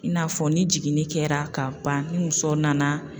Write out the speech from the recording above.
I n'a fɔ ni jiginni kɛra ka ban ni muso nana